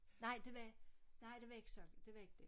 Nej det var nej det var ikke sådan det var ikke det